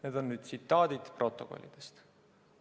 Need on tsitaadid protokollidest.